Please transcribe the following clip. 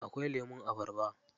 Akwai lemun abarba.